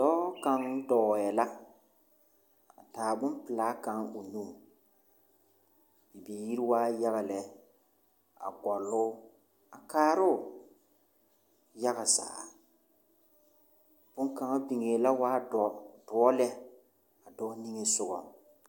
Dɔɔ kaŋ dɔɔɛ la a taa bompelaa kaŋ o nuŋ. Bibiir waa yaga lɛ a gɔloo a kaaroo yaga zaa. Boŋkaŋa biŋee la waa dɔr doɔ lɛ a dɔɔ niŋe sogaŋ